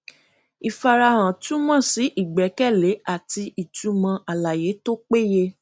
ìfarahàn túmọ sí ìgbẹkẹlé àti ìtumọ àlàyé tó péye